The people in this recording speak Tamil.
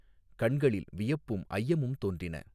கண்களில் வியப்பும் ஐயமும் தோன்றின.